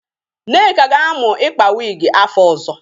Nneka ga-amụ ikpa wigi afọ ọzọ